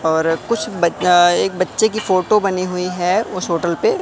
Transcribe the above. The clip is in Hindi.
और कुछ बच्चा एक बच्चे की फोटो बनी हुई है उस होटल पे--